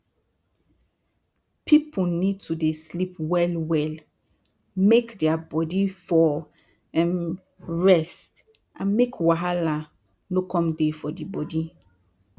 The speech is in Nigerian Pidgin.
pipu need to dey sleep well well make dia bodi for um rest and make wahala no come dey for d bodi